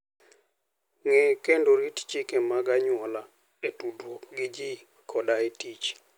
Ng'e kendo rit chike mag anyuola e tudruok gi ji koda e tich.